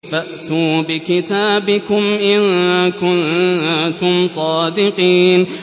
فَأْتُوا بِكِتَابِكُمْ إِن كُنتُمْ صَادِقِينَ